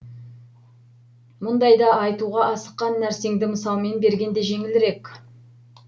мұндайда айтуға асыққан нәрсеңді мысалмен берген де жеңілірек